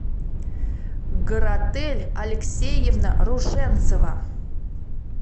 гаратель алексеевна рушенцева